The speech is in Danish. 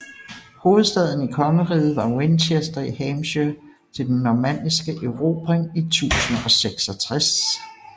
Hovedstaden i kongeriget var Winchester i Hampshire til den normanniske erobring i 1066